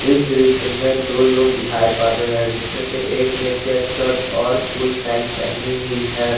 इस दृश्य में दो लोग दिखाई पड़ रहे हैं जिसमें से एक ने चेक शर्ट और फुल पैंट पहनी हुई है।